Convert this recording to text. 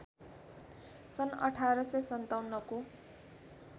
सन् १८५७ को